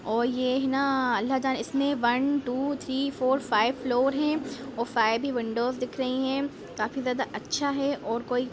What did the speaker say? और ये न अल्हटह इसमें one two three four five floor है और फाइव भी विंडोज दिख रही है काफी ज्यादा अच्छा है और कोई --